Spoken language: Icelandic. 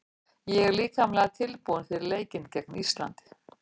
Ég er líkamlega tilbúinn fyrir leikinn gegn Íslandi.